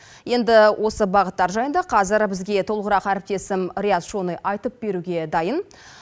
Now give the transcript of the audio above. енді осы бағыттар жайында қазәр бізге толығырақ әріптесім рият шони айтып беруге дайын